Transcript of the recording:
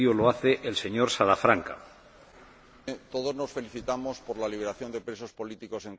Señor Presidente, todos nos felicitamos por la liberación de presos políticos en Cuba.